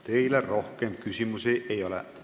Teile rohkem küsimusi ei ole.